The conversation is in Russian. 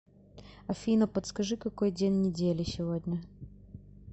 афина подскажи какой день недели сегодня